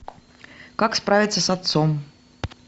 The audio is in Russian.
как справиться с отцом